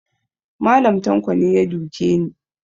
Mallam tanko ne ya duke ni